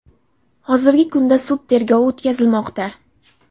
Hozirgi kunda sud tergovi o‘tkazilmoqda.